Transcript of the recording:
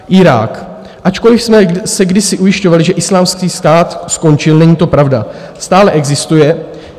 Irák - ačkoliv jsme se kdysi ujišťovali, že Islámský stát skončil, není to pravda, stále existuje.